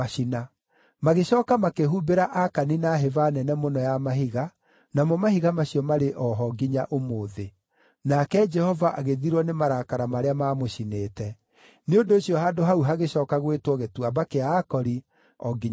Magĩcooka makĩhũmbĩra Akani na hĩba nene mũno ya mahiga, namo mahiga macio marĩ o ho nginya ũmũthĩ. Nake Jehova agĩthirwo nĩ marakara marĩa maamũcinĩte. Nĩ ũndũ ũcio handũ hau hagĩcooka gwĩtwo Gĩtuamba kĩa Akori o nginya ũmũthĩ.